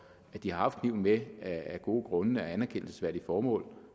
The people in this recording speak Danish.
at de har haft kniven med af gode grunde med anerkendelsesværdige formål